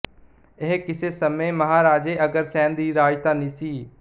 ਇਹ ਕਿਸੇ ਸਮੇਂ ਮਹਾਰਾਜੇ ਅਗਰਸੈਨ ਦੀ ਰਾਜਧਾਨੀ ਸੀ